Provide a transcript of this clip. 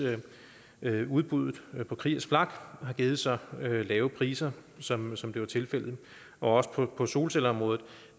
udbuddet på kriegers flak har givet så lave priser som som det var tilfældet og også på solcelleområdet